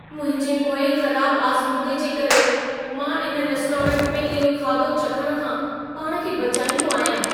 मुंहिंजे पोएं ख़राब आज़मूदे जे करे, मां इन रेस्टोरेंट में इहो खाधो चखण खां पाण खे बचाईंदो आहियां।